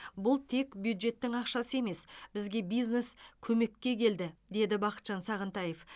бұл тек бюджеттің ақшасы емес бізге бизнес көмекке келді деді бақытжан сағынтаев